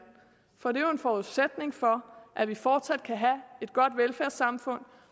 for det er jo en forudsætning for at vi fortsat kan have et godt velfærdssamfund